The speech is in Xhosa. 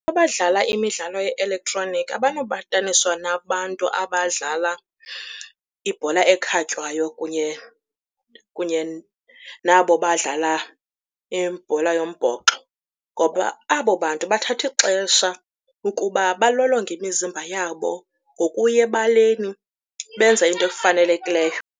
Abadlala imidlalo ye-elektroniki abanobataniswa nabantu abadlala ibhola ekhatywayo kunye nabo badlala ibhola yombhoxo ngoba abo bantu bathatha ixesha ukuba balolonge imizimba yabo ngokuya ebaleni benze into efanelekileyo.